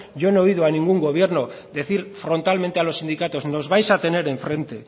yo no he oído a ningún gobierno decir frontalmente a los sindicatos nos vais a tener enfrente